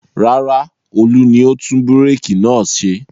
Rárá, Olú ni ó tún búrékì náà ṣe.